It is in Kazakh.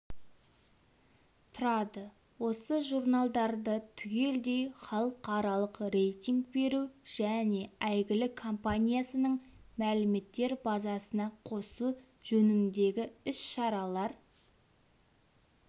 тұрады осы журналдарды түгелдей халықаралық рейтинг беру және әйгілі компаниясының мәліметтер базасына қосу жөніндегі іс-шаралар